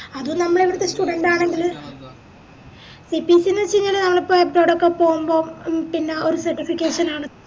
അത് നമ്മളവിടുത്തെ student ആണെങ്കില് CPC ന്ന് വെച്ചയ്‌നാൽ പോവുമ്പോ ഒര് പിന്ന ഒര് certification ആണ്